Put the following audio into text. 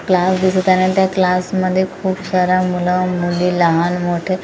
class दिसत आहे आणि त्या क्लासमध्ये खूप सारा मुलं मुली लहान मोठे कु--